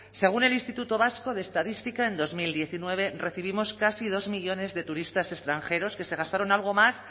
según el instituto vasco de estadística en dos mil diecinueve recibimos casi dos millónes de turistas extranjeros que se gastaron algo más